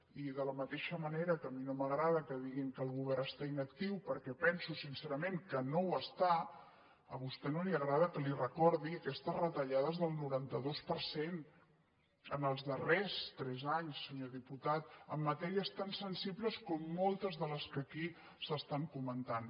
i de la mateixa manera que a mi no m’agrada que diguin que el govern està inactiu perquè penso sin·cerament que no ho està a vostè no li agrada que li re·cordi aquestes retallades del noranta dos per cent els darrers tres anys senyor diputat en matèries tan sensibles com mol·tes de les que aquí s’estan comentant